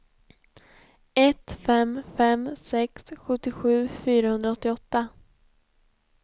ett fem fem sex sjuttiosju fyrahundraåttioåtta